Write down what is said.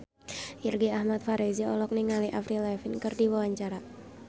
Irgi Ahmad Fahrezi olohok ningali Avril Lavigne keur diwawancara